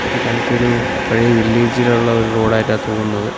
ഇത് കണ്ടിട്ട് ഒരു പഴയ വില്ലേജ് ഇലുള്ള ഒരു റോഡ് ആയിട്ടാ തോന്നുന്നത്.